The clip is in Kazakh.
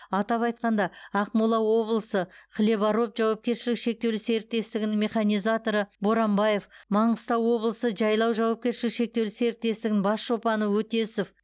атап айтқанда ақмола облысы хлебороб жауапкершілігі шектеулі серіктестігінің механизаторы боранбаев маңғыстау облысы жайлау жауапкершілігі шектеулі серіктестігінің бас шопаны өтесов